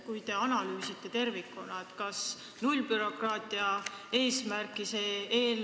Kui te tervikuna analüüsite, kas siis teile tundub, et see eelnõu täidab nullbürokraatia eesmärki?